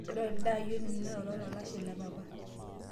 ore ilde aayioni naa ollolalashe le papa